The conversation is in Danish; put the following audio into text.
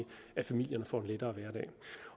at familierne får en lettere hverdag og